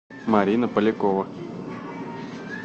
марина полякова